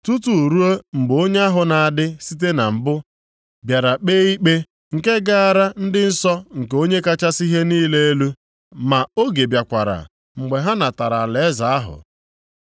Tutu ruo mgbe onye ahụ na-adị site na mbụ bịara kpee ikpe nke gaara ndị nsọ nke Onye kachasị ihe niile elu, ma oge bịakwara mgbe ha natara alaeze ahụ.